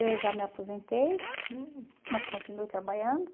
Eu já me aposentei, hum, mas continuo trabalhando.